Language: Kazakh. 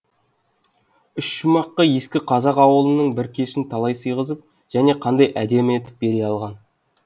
үш шумаққа ескі қазақ ауылының бір кешін қалай сыйғызып және қандай әдемі етіп бере алған